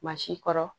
Maa si kɔrɔ